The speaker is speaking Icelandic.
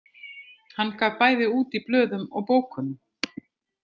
Hann gaf bæði út í blöðum og bókum.